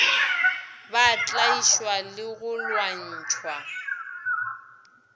ba tlaišwa le go lwantšhwa